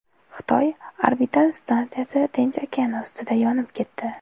Xitoy orbital stansiyasi Tinch okeani ustida yonib ketdi.